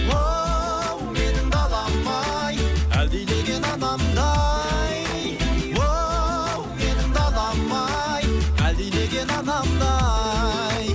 оу менің далам ай әлдилеген анамдай оу менің далам ай әлдилеген анамдай